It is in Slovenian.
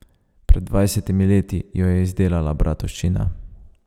Pred dvajsetimi leti jo je izdelala Bratovščina.